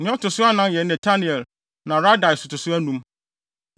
Na nea ɔto so anan yɛ Netanel na Radai to so anum.